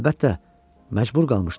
Əlbəttə, məcbur qalmışdı.